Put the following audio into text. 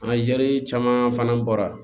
A caman fana bɔra